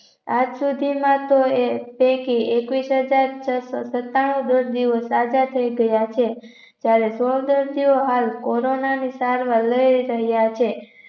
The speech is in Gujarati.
આજ સુધીમાં તેઓએ પેકી એકવીસ હાજર છસો સતાણુ દોઢ દિવસ સાજા થઇ ગયા છે ત્યારે સોળ દર્દીઓ હાલ corona ની સારવાર લઇ રહ્યા છે.